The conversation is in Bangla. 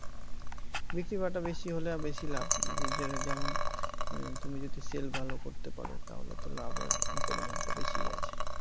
বিক্রি বাটা বেশি হলে বেশি লাভ যেমন তুমি যদি sell ভালো করতে পারো, তাহলে তো লাভের পরিমাণটা বেশিই আছে।